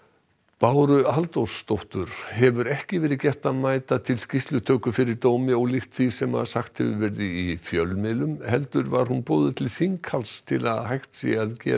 Báru Halldórsdóttur hefur ekki verið gert að mæta til skýrslutöku fyrir dómi ólíkt því sem sagt hefur verið í fjölmiðlum heldur var hún boðuð til þinghalds til að hægt sé að gera